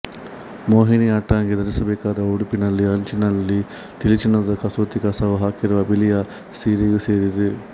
ಮೋಹಿನಿಯಾಟ್ಟಂಗೆ ಧರಿಸಬೇಕಾದ ಉಡುಪಿನಲ್ಲಿ ಅಂಚಿನಲ್ಲಿ ತಿಳಿ ಚಿನ್ನದ ಕಸೂತಿ ಕಸವು ಹಾಕಿರುವ ಬಿಳಿಯ ಸೀರೆಯೂ ಸೇರಿದೆ